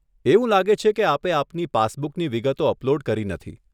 એવું લાગે છે કે આપે આપની પાસબુકની વિગતો અપલોડ કરી નથી.